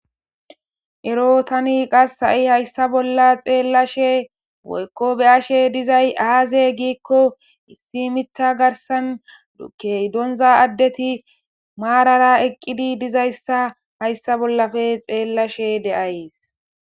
Erro tani qasse hi hayssa bolla xelashhshe woykko bea'shshe dizzay azze gikko issi miiththa garsan keehi donza addethi marara eqidi dizayssa hayssape lelashshe bea'yss.